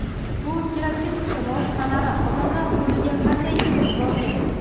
bu pirotexnika vositalari odamlar qo‘liga qanday yetib borgan?.